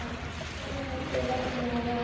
Þá sá Helgi að dótturinni var full alvara.